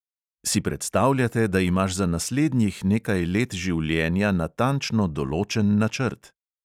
Si predstavljate, da imaš za naslednjih nekaj let življenja natančno določen načrt?